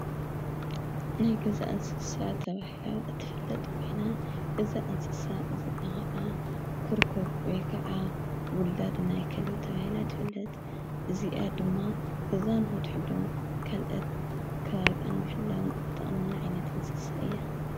ናይ ገዛ እንስሳ ተብሂላ እትፍለጥ ኮይና እዛ እንስሳ እዚኢ ኸዓ ኲርኩር ወይ ከዓ ውላድ ናይ ከልቢ ተባሂላ ትፈለጥ፡፡ እዚኣ ድማ ገዛን ንኽትሕሉን ካልኦት ከባቢኣ ንምሕላውን እትጠቕመና ዓይነት እንስሳ እያ፡፡